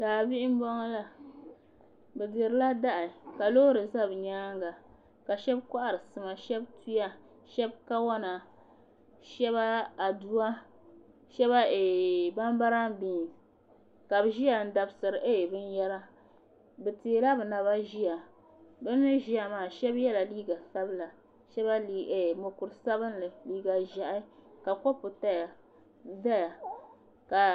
Daa bihi n bɔŋɔ la bi dirila dahi ka loori za bi yɛanga ka shɛba kɔhiri sima tuya shɛba kawona shɛba adua shɛba bam baram binsi ka bi zoya n dabisiri bini yɛra bi tɛɛla bi naba ziya bini ziya maa shɛba yiɛla liiga sabila shɛba mokuri sabinli liiga zɛɛhi ka kɔpu zaya.